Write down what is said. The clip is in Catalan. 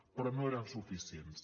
però no eren suficients